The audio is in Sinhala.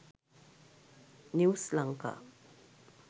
news lanka